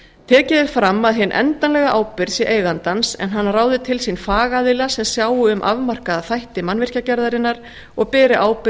tekið er fram að hin endanlega ábyrgð sé eigandans en hann ráði til sín fagaðila sem sjái um afmarkaða þætti mannvirkjagerðarinnar og beri ábyrgð